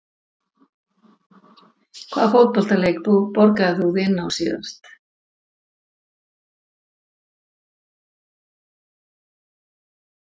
Hvaða fótboltaleik borgaðir þú þig inn á síðast?